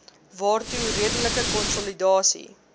waartoe redelike konsolidasie